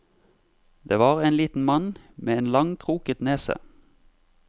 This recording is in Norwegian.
Det var en liten mann med en lang kroket nese.